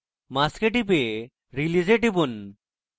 mask এ টিপুন এবং তারপর release এ টিপুন